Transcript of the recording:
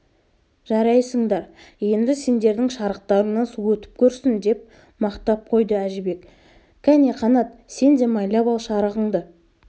жарайсыңдар енді сендердің шарықтарыңнан су өтіп көрсін деп мақтап қойды әжібек кәне қанат сен де майлап ал шарығыңды